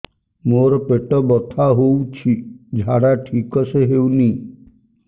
ମୋ ପେଟ ବଥା ହୋଉଛି ଝାଡା ଠିକ ସେ ହେଉନି